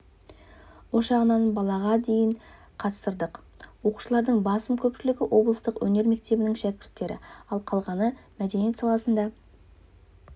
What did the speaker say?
ошағынан балаға дейін қатыстырдық оқушылардың басым көпшілігі облыстық өнер мектебінің шәкірттері ал қалғаны мәдениет саласында